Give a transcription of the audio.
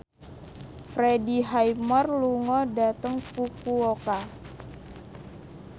Freddie Highmore lunga dhateng Fukuoka